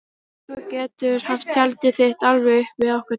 Þú getur haft tjaldið þitt alveg upp við okkar tjald.